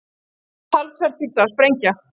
Talsvert þurfti að sprengja.